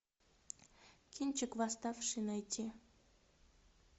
кинчик восставший найти